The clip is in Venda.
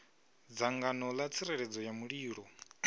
dzangano ḽa tsireledzo ya mulilo